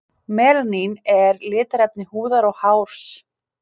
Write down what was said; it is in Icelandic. Melanín er litarefni húðar og hárs.